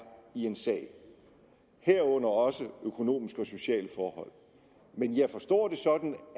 i en sag herunder også økonomiske og sociale forhold men jeg forstår det sådan